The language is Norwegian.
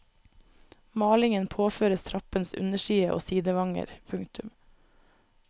Malingen påføres trappens underside og sidevanger. punktum